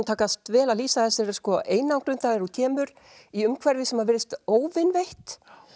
takast vel að lýsa þessari einangrun þegar hún kemur í umhverfi sem virðist óvinveitt